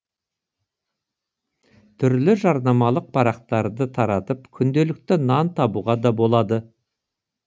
түрлі жарнамалық парақтарды таратып күнделікті нан табуға да болады